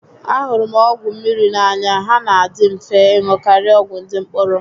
A hụrụ m ọgwụ mmiri n'anya, há nà adị mfe ịṅụ karịa ọgwụ ndị mkpụrụ